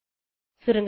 சுருங்கசொல்ல